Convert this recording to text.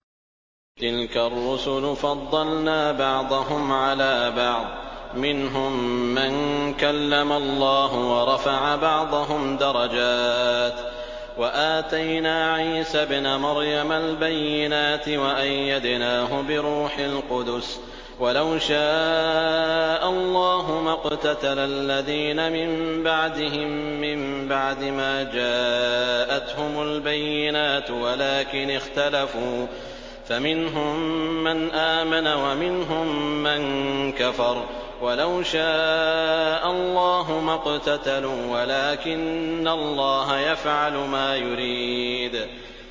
۞ تِلْكَ الرُّسُلُ فَضَّلْنَا بَعْضَهُمْ عَلَىٰ بَعْضٍ ۘ مِّنْهُم مَّن كَلَّمَ اللَّهُ ۖ وَرَفَعَ بَعْضَهُمْ دَرَجَاتٍ ۚ وَآتَيْنَا عِيسَى ابْنَ مَرْيَمَ الْبَيِّنَاتِ وَأَيَّدْنَاهُ بِرُوحِ الْقُدُسِ ۗ وَلَوْ شَاءَ اللَّهُ مَا اقْتَتَلَ الَّذِينَ مِن بَعْدِهِم مِّن بَعْدِ مَا جَاءَتْهُمُ الْبَيِّنَاتُ وَلَٰكِنِ اخْتَلَفُوا فَمِنْهُم مَّنْ آمَنَ وَمِنْهُم مَّن كَفَرَ ۚ وَلَوْ شَاءَ اللَّهُ مَا اقْتَتَلُوا وَلَٰكِنَّ اللَّهَ يَفْعَلُ مَا يُرِيدُ